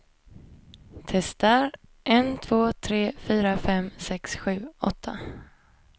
Testar en två tre fyra fem sex sju åtta.